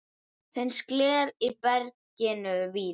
Finnst gler í berginu víða.